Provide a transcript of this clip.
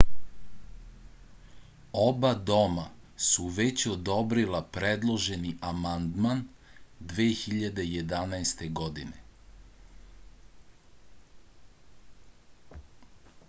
oba doma su već odobrila predloženi amandman 2011. godine